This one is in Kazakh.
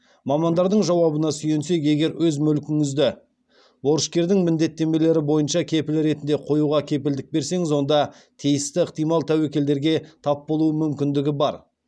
мамандардың жауабына сүйенсек егер өз мүлкіңізді борышкердің міндеттемелері бойынша кепіл ретінде қоюға кепілдік берсеңіз онда тиісті ықтимал тәуекелдерге тап болуы мүмкіндігі бар